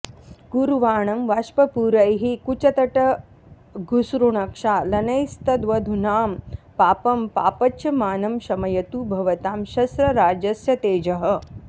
कुर्वाणं वाष्पपूरैः कुचतटघुसृणक्षालनैस्तद्वधूनां पापं पापच्यमानं शमयतु भवतां शस्त्रराजस्य तेजः